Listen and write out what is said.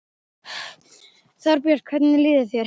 Þorbjörn: Hvernig líður þér?